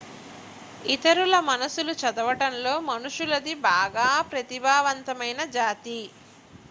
ఇతరుల మనస్సులు చదవడంలో మనుషులది బాగా ప్రతిభావంతమైన జాతి